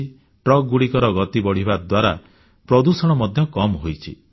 ଟ୍ରକଗୁଡ଼ିକର ଗତି ବଢ଼ିବା ଦ୍ୱାରା ପ୍ରଦୂଷଣ ମଧ୍ୟ କମ୍ ହୋଇଛି